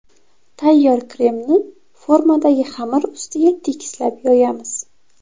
Tayyor kremni formadagi xamir ustiga tekislab yoyamiz.